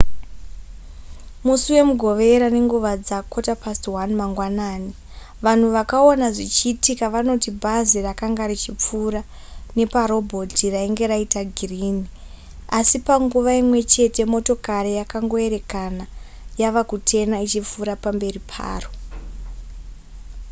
musi wemugovera nenguva dza1:15 mangwanani vanhu vakaona zvichiitika vanoti bhazi rakanga richipfuura neparobhoti rainge raita girini asi panguva imwe chete motokari yakangoerekana yava kutena ichipfuura nepamberi paro